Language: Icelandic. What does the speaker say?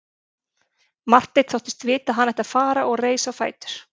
Marteinn þóttist vita að hann ætti að fara og reis á fætur.